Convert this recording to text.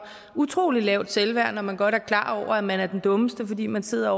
utrolig lavt selvværd når man godt er klar over at man er den dummeste fordi man sidder